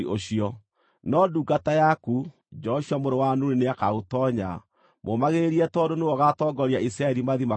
No ndungata yaku, Joshua mũrũ wa Nuni nĩakaũtoonya. Mũmagĩrĩrie, tondũ nĩwe ũgaatongoria Isiraeli mathiĩ makaũgae.